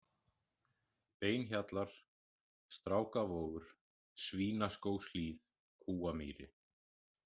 Beinahjallar, Strákavogur, Svínaskógshlíð, Kúamýri